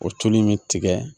O tulu in bɛ tigɛ